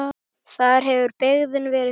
Þar hefur byggðin verið þétt.